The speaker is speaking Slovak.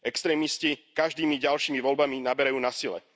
Extrémisti každými ďalšími voľbami naberajú na sile.